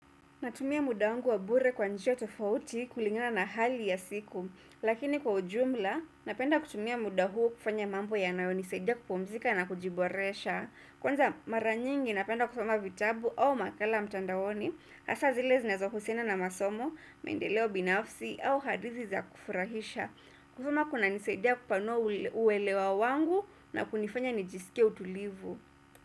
Natumia muda wangu wa bure kwa njia tofauti kulingina na hali ya siku. Lakini kwa ujumla, napenda kutumia muda huo kufanya mambo ya nayo nisaidia kupumzika na kujiboresha. Kwanza maranyingi napenda kusoma vitabu au makala mtandaoni. Hasa zile zinazo husiana na masomo, maendeleo binafsi au hadithi za kufurahisha. Kusoma kuna nisaidia kupanua uwelewa wangu na kunifanya nijisike utulivu.